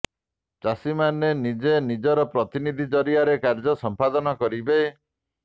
ଚାଷୀମାନେ ନିଜେ ନଜିର ପ୍ରତିନିଧି ଜରିଆରେ କାର୍ଯ୍ୟ ସଂପାଦନ କରିବେ